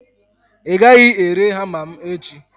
ị gaghị ere hama m echi!